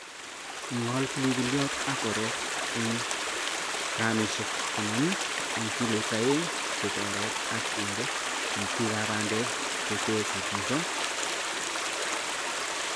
ing'ol pilipilyot ak orek en 50gm en kilo aeng chebo orek ak inde itikab bandek che te koindanyin kutundo